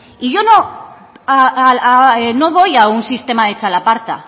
y yo voy a un sistema de txalaparta